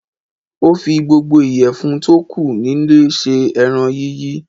Ó fi gbogbo ìyèfun tó kù nílé sé eran yíyí